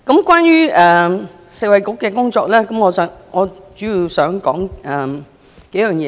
關於食衞局的工作，我主要想說幾項事情。